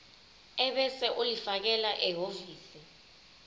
ebese ulifakela ehhovisi